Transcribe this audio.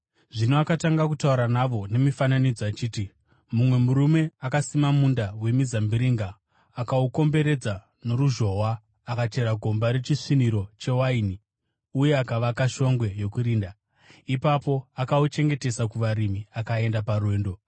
Zvino akatanga kutaura navo nemifananidzo achiti, “Mumwe murume akasima munda wemizambiringa. Akaukomberedza noruzhowa, akachera gomba rechisviniro chewaini uye akavaka shongwe yokurinda. Ipapo akauchengetesa kuvarimi akaenda parwendo.